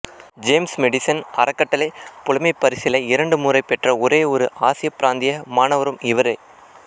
James Madison அறக்கட்டளை புலமைப்பரிசிலை இரண்டுமுறை பெற்ற ஒரேயொரு ஆசிய பிராந்திய மாணவரும் இவரே